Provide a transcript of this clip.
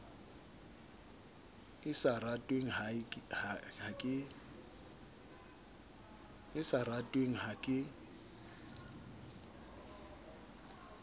e sa ratweng ha ke